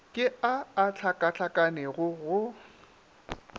ke a a hlakahlakanego go